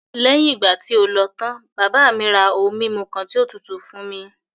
Léyìn ìgbà tí o lọ tán, bàbá mi ra ohun mímu kan tí ó tutù fún mi.